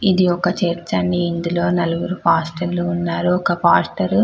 ఇది ఒక చర్చ్ అండి ఇందిలో నల్లగ్రు పాస్టర్లు ఉన్నారు ఒక పాస్టర్ --